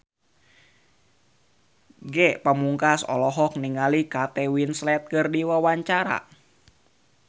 Ge Pamungkas olohok ningali Kate Winslet keur diwawancara